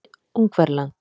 Ungverjaland